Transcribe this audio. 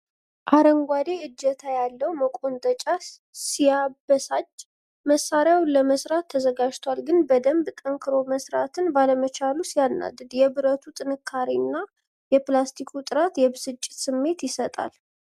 አረንጓዴ እጀታ ያለው መቆንጠጫ ሲያበሳጭ ! መሳሪያው ለመስራት ተዘጋጅቷል ፤ ግን በደንብ ጠንክሮ መሥራትን ባለመቻሉ ሲያናድድ!!። የብረቱ ጥንካሬ እና የፕላስቲኩ ጥራት የብስጭት ስሜት ይሰጣል።